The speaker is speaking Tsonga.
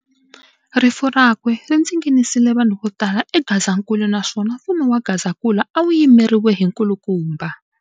Rifu rakwe rindzinginisile vanhu votala eGazankulu naswona mfumo wa Gazankulu awu yimeriwe hi nkulukumba.